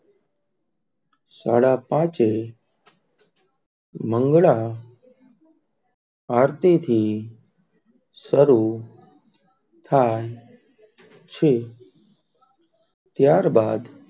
સાડા પાંચહે મંગલા આરતી થી સરુ થાય છે.